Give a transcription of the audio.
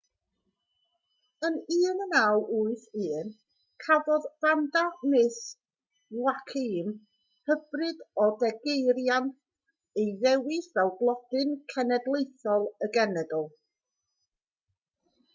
yn 1981 cafodd vanda miss joaquim hybrid o degeirian ei ddewis fel blodyn cenedlaethol y genedl